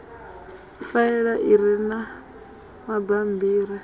faela i re na mabammbiri